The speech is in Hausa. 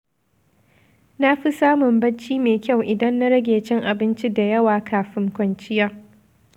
Na fi samun bacci mai kyau idan na rage cin abinci da yawa kafin kwanciya.